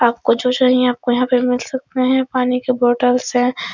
आपको जो चाहिए आपको यहां पे मिल सकता है पानी के बोटल्स है ।